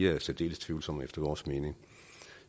er særdeles tvivlsomme efter vores mening